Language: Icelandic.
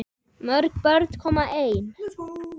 Mörg börn koma ein.